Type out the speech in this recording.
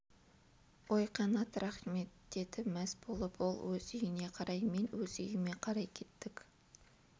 ой қанат-ай рақмет деді мәз болып ол өз үйіне қарай мен өз үйіме қарай кеттік